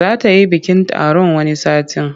Za ta yi bikin taron wani satin.